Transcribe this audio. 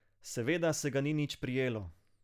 Seveda se ga ni nič prijelo.